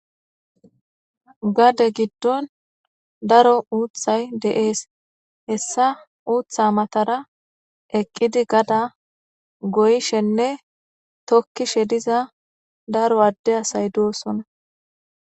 Gade giddon daro uuthay de7ees hessa uutha matara eqqidi gada goyshenne tokkishe diza daro adde asay doosona.